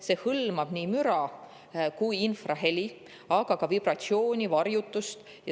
See hõlmab nii müra kui ka infraheli, aga ka vibratsiooni ja varjutust.